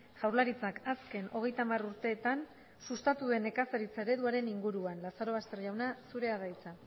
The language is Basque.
jaurlaritzak azken hogeita hamar urteetan sustatu duen nekazaritza ereduaren inguruan lazarobaster jauna zurea da hitza